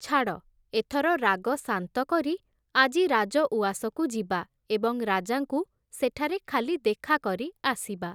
ଛାଡ଼, ଏଥର ରାଗ ଶାନ୍ତ କରି ଆଜି ରାଜ ଉଆସକୁ ଯିବା ଏବଂ ରାଜାଙ୍କୁ ସେଠାରେ ଖାଲି ଦେଖା କରି ଆସିବା ।